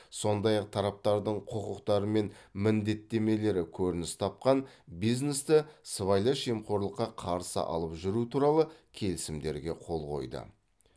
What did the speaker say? сондай ақ тараптардың құқықтары мен міндеттемелері көрініс тапқан бизнесті сыбайлас жемқорлыққа қарсы алып жүру туралы келісімдерге қол қойды